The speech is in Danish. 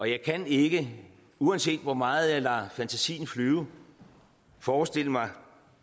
jeg kan ikke uanset hvor meget jeg lader fantasien flyve forestille mig